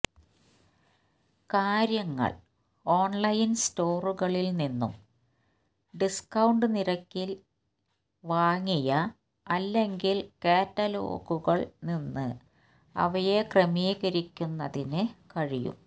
കാര്യങ്ങൾ ഓൺലൈൻ സ്റ്റോറുകളിൽ നിന്നും ഡിസ്കൌണ്ട് നിരക്കിൽ വാങ്ങിയ അല്ലെങ്കിൽ കാറ്റലോഗുകൾ നിന്ന് അവയെ ക്രമീകരിക്കുന്നതിന് കഴിയും